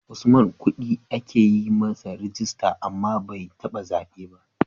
Usman kudi ake yi masa rijista, amma bai taba zabe ba.